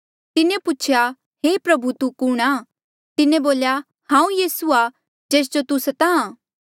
तिन्हें पूछेया हे प्रभु तू कुणहां तिन्हें बोल्या हांऊँ यीसू आ जेस जो तू स्ताहां